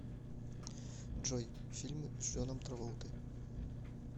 джой фильмы с джоном траволтой